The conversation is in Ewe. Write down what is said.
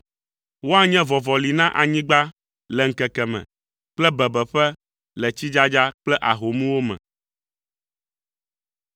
Woanye vɔvɔli na anyigba le ŋkeke me kple bebeƒe le tsidzadza kple ahomwo me.